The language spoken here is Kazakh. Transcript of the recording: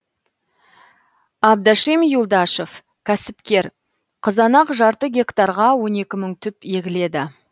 абдашим юлдашев кәсіпкер қызанақ жарты гектарға он екі мың түп егіледі